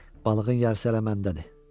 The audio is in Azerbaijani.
Balığın yarısı hələ məndədir.